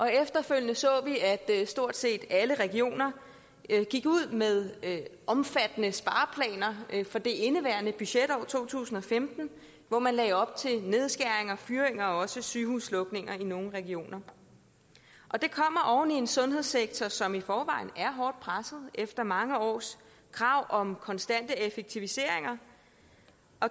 efterfølgende så vi at stort set alle regioner gik ud med omfattende spareplaner for det indeværende budgetår to tusind og femten hvor man lagde op til nedskæringer fyringer og også sygehuslukninger i nogle regioner og det kommer oven i en sundhedssektor som i forvejen er hårdt presset efter mange års krav om konstante effektiviseringer